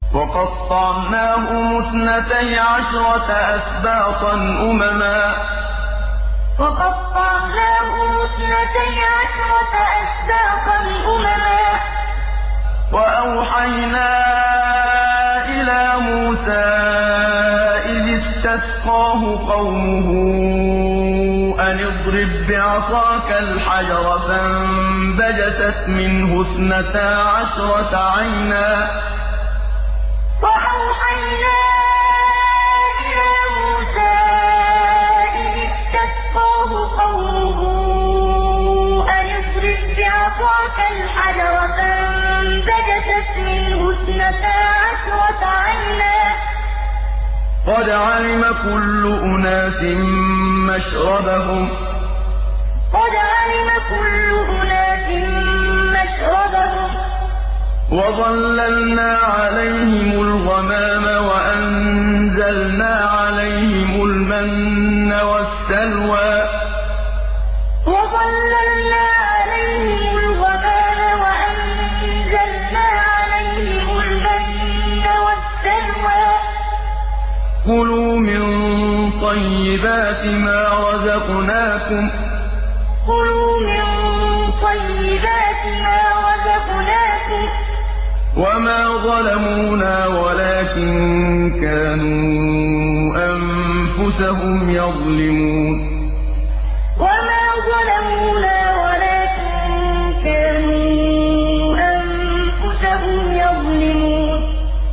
وَقَطَّعْنَاهُمُ اثْنَتَيْ عَشْرَةَ أَسْبَاطًا أُمَمًا ۚ وَأَوْحَيْنَا إِلَىٰ مُوسَىٰ إِذِ اسْتَسْقَاهُ قَوْمُهُ أَنِ اضْرِب بِّعَصَاكَ الْحَجَرَ ۖ فَانبَجَسَتْ مِنْهُ اثْنَتَا عَشْرَةَ عَيْنًا ۖ قَدْ عَلِمَ كُلُّ أُنَاسٍ مَّشْرَبَهُمْ ۚ وَظَلَّلْنَا عَلَيْهِمُ الْغَمَامَ وَأَنزَلْنَا عَلَيْهِمُ الْمَنَّ وَالسَّلْوَىٰ ۖ كُلُوا مِن طَيِّبَاتِ مَا رَزَقْنَاكُمْ ۚ وَمَا ظَلَمُونَا وَلَٰكِن كَانُوا أَنفُسَهُمْ يَظْلِمُونَ وَقَطَّعْنَاهُمُ اثْنَتَيْ عَشْرَةَ أَسْبَاطًا أُمَمًا ۚ وَأَوْحَيْنَا إِلَىٰ مُوسَىٰ إِذِ اسْتَسْقَاهُ قَوْمُهُ أَنِ اضْرِب بِّعَصَاكَ الْحَجَرَ ۖ فَانبَجَسَتْ مِنْهُ اثْنَتَا عَشْرَةَ عَيْنًا ۖ قَدْ عَلِمَ كُلُّ أُنَاسٍ مَّشْرَبَهُمْ ۚ وَظَلَّلْنَا عَلَيْهِمُ الْغَمَامَ وَأَنزَلْنَا عَلَيْهِمُ الْمَنَّ وَالسَّلْوَىٰ ۖ كُلُوا مِن طَيِّبَاتِ مَا رَزَقْنَاكُمْ ۚ وَمَا ظَلَمُونَا وَلَٰكِن كَانُوا أَنفُسَهُمْ يَظْلِمُونَ